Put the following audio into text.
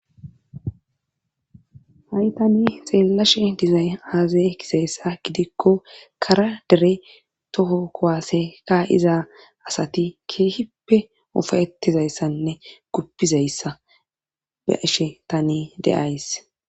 ha7i tani xeellashe dizay azazay kisayssa gidikko kara dere toho kowaaseka iza asati keehippe ofayetizayssanne guppizayssa be ashe tane deays